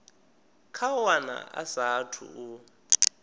kha wana a saathu u